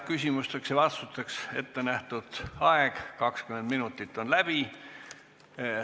Küsimusteks ja vastusteks ettenähtud aeg 20 minutit on läbi.